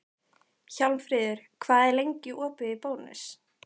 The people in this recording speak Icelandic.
Hjálmfríður, hvað er lengi opið í Bónus?